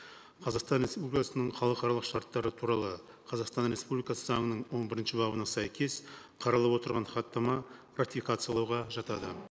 қазақстан республикасының халықаралық шарттары туралы қазақстан республикасы заңының он бірінші бабына сәйкес қаралып отырған хаттама ратификациялауға жатады